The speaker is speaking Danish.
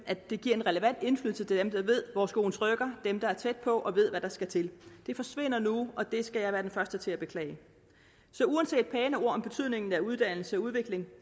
at det giver en relevant indflydelse til dem der ved hvor skoen trykker dem der er tæt på og ved hvad der skal til det forsvinder nu og det skal jeg være den første til at beklage så uanset pæne ord om betydningen af uddannelse og udvikling